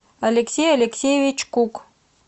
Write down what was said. алексей алесеевич кук